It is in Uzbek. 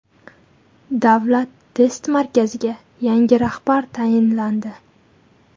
Davlat test markaziga yangi rahbar tayinlandi.